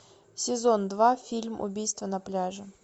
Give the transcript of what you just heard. сезон два фильм убийство на пляже